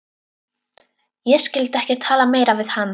Ég skyldi ekki tala meira við hann.